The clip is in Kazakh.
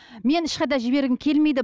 мен ешқайда жібергім келмейді